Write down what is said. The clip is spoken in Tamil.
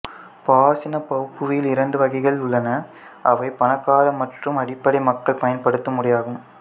பாசின் பௌபூவில் இரண்டு வகைகள் உள்ளன அவை பணக்கார மற்றும் அடிப்படை மக்கள் பயன்படுத்தும் உடையாகும்